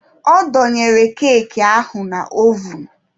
Ọ dọnyere keeki ahụ na ovun.